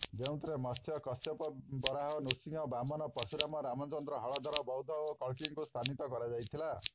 ଯେଉଁଥିରେ ମତ୍ସ୍ୟ କଶ୍ୟପ ବରାହ ନୃସିଂହ ବାମନ ପର୍ଶୁରାମ ରାମଚନ୍ଦ୍ର ହଳଧର ବୌଦ୍ଧ ଓ କଳ୍କୀଙ୍କୁ ସ୍ଥାନୀତ କରାଯାଇଥିଲା